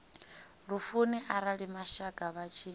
lufuni arali mashaka vha tshi